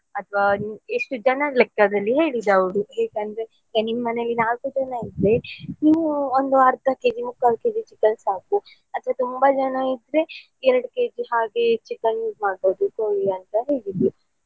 ಅಥವಾ ಎಷ್ಟು ಜನದ್ ಲೆಕ್ಕದಲ್ಲಿ ಹೇಳಿದ್ ಅವ್ರು ಯಾಕಂದ್ರೆ ಈಗ ನಿಮ್ ಮನೆಯಲ್ಲಿ ನಾಲ್ಕು ಜನ ಇದ್ರೆ ನೀವು ಒಂದು ಅರ್ಧ kg ಮುಕ್ಕಾಲ್ kg chicken ಸಾಕು ಅಥವಾ ತುಂಬ ಜನ ಇದ್ರೆ ಎರಡು kg ಹಾಗೆ chicken .